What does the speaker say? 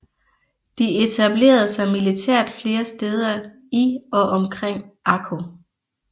De etablerede sig militært flere steder i og omkring Akko